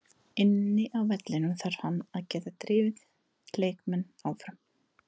Inni á vellinum þarf hann að geta drifið leikmenn áfram.